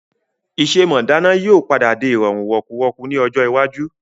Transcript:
Ìṣe mọ dáná yìí ó padà di ìrọ̀rùn wọ̀kùwọku ni ọjọ́ iwájú.